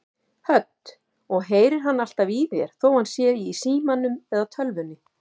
Hödd: Og heyrir hann alltaf í þér þó hann sé í símanum eða tölvunni?